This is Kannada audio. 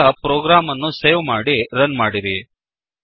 ಈಗ ಪ್ರೋಗ್ರಾಮ್ ಅನ್ನು ಸೇವ್ ಮಾಡಿ ರನ್ ಮಾಡಿರಿ